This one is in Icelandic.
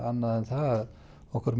það að okkur